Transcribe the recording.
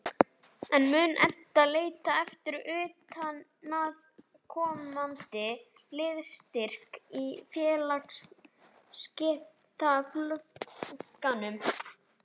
En mun Edda leita eftir utanaðkomandi liðsstyrk í félagsskiptaglugganum?